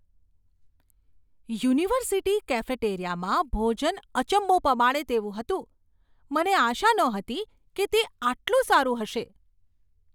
University કેફેટેરિયામાં ભોજન અચંબો પમાડે તેવું હતું, મને આશા નહોતી કે તે આટલું સારું હશે.